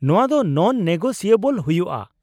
ᱱᱚᱶᱟ ᱫᱚ ᱱᱚᱱᱼᱱᱮᱜᱳᱥᱤᱭᱮᱵᱚᱞ ᱦᱩᱭᱩᱜᱼᱟ ᱾